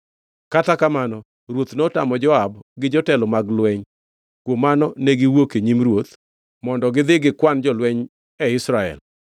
Kata kamano ruoth notamo Joab gi jotelo mag lweny; kuom mano ne giwuok e nyim ruoth mondo gidhi gikwan jolweny e Israel.